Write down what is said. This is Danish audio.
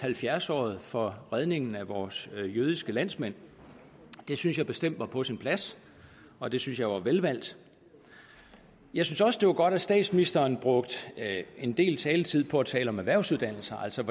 halvfjerdsåret for redningen af vores jødiske landsmænd det synes jeg bestemt var på sin plads og det synes jeg var velvalgt jeg synes også det var godt at statsministeren brugte en del taletid på at tale om erhvervsuddannelser altså